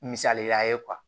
Misaliya ye